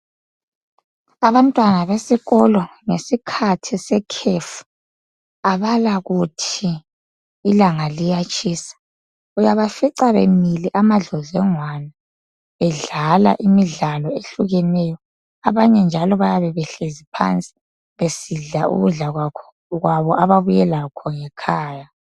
Abantwana besikolo ngesikhathi sekhefu abalakuthi ilanga liyatshisa uyabafica bemile amadlodlongwana bedlala imidlalo ehlukeneyo abanye njalo bayabe behlezi phansi besidla ukudla kwabo ababuyelakho ngekhaya